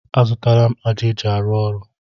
A zụtala m ájá eji arụ ọrụ.